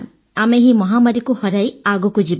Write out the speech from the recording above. ଆମେ ଏହି ମହାମାରୀକୁ ହରାଇ ଆଗକୁ ଯିବା